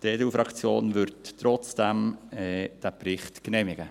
Die EDU-Fraktion wird den Bericht trotzdem genehmigen.